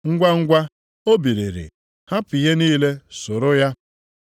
Ngwangwa, o biliri, hapụ ihe niile soro ya.